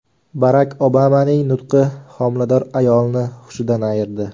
Barak Obamaning nutqi homilador ayolni hushidan ayirdi.